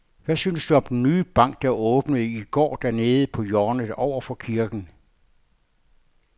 Hvad synes du om den nye bank, der åbnede i går dernede på hjørnet over for kirken?